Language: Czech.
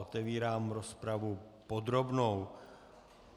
Otevírám rozpravu podrobnou.